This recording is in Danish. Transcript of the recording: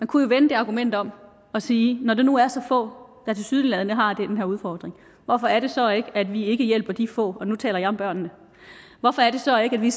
kunne vende det argument om og sige når det nu er så få der tilsyneladende har den her udfordring hvorfor er det så at vi ikke hjælper de få og nu taler jeg om børnene hvorfor er det så at vi